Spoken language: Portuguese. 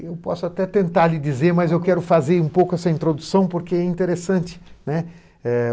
Eu posso até tentar lhe dizer, mas eu quero fazer um pouco essa introdução porque é interessante, né. Eh